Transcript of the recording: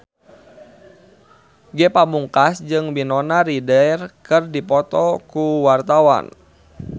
Ge Pamungkas jeung Winona Ryder keur dipoto ku wartawan